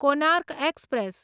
Konark express